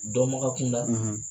Dɔnbaga kunda